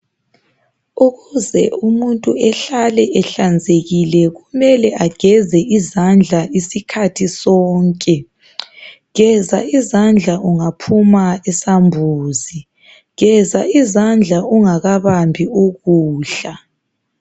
Ukuze umuntu ehlale ehlanzekile. kumele ageze izandla isikhathi sonke, geza izandla ungaphuma esambuzi ,geza izandla ungakabambi ukudla .